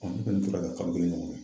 Ɔn ne fɛnɛ to la yen fo kalo kelen ɲɔgɔn.